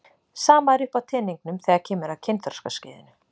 Sama er uppi á teningnum þegar kemur að kynþroskaskeiðinu.